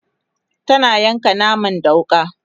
tana yanka naman da wuƙa